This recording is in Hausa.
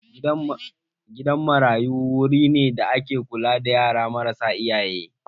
Gidan marayu wuri ne da ake kula da yara marasa iyaye.